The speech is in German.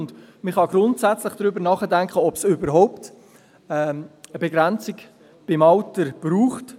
Man kann grundsätzlich darüber nachdenken, ob es beim Alter eine Begrenzung braucht.